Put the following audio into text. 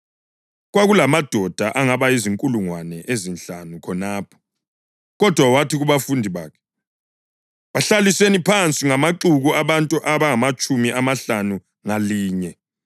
(Kwakulamadoda angaba zinkulungwane ezinhlanu khonapho.) Kodwa wathi kubafundi bakhe, “Bahlaliseni phansi ngamaxuku abantu abangamatshumi amahlanu ngalinye.”